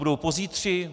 Budou pozítří?